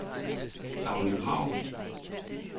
Dagny Krag